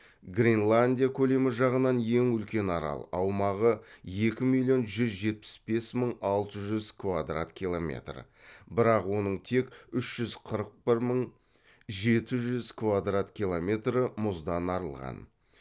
гренландия көлемі жағынан ең үлкен арал аумағы екі миллион жүз жетпіс бес мың алты жүз квадрат километр бірақ оның тек үш жүз қырық бір мың жеті жүз квдрат километр мұздан арылған